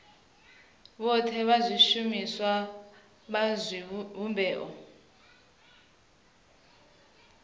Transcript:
vhothe na vhashumi vha zwivhumbeo